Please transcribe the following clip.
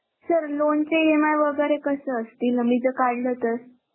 Sir loan चे EMI वेगेरे कसे असतील मी जर काढल तर?